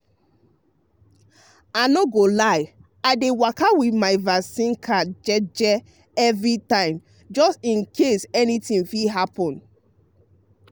i no go lie i dey waka with my vaccine card jeje every time just in case anything fit happen.